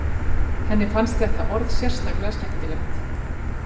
Henni fannst þetta orð sérstaklega skemmtilegt.